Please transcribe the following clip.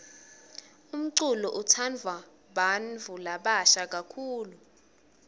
umculo utsandvwa bantfu labasha kakhulu